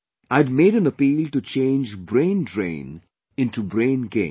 I had made an appeal to change braindrain into braingain